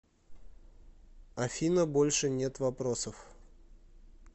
афина больше нет вопросов